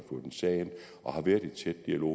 sag ind og har været i tæt dialog